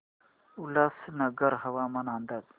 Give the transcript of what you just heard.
उल्हासनगर हवामान अंदाज